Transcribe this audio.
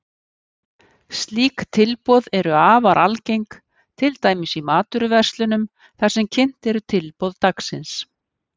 Slík tilboð eru afar algeng, til dæmis í matvöruverslunum þar sem kynnt eru tilboð dagsins.